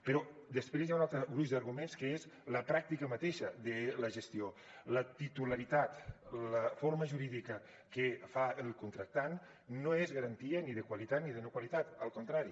però després hi ha un altre gruix d’arguments que és la pràctica mateixa de la gestió la titularitat la forma jurídica que fa el contractant no és garantia ni de qualitat ni de no qualitat al contrari